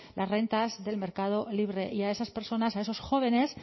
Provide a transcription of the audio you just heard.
las rentas del mercado libre y a esas personas a esos jóvenes